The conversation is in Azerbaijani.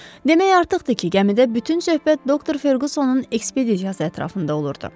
Demək artıqdır ki, gəmidə bütün söhbət doktor Ferqussonun ekspedisiyası ətrafında olurdu.